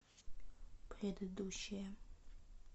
предыдущая